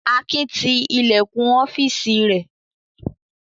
Akin ti ilẹ̀kùn ọ́fíísì rẹ̀?